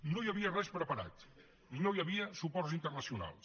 no hi havia res preparat no hi havia suports internacionals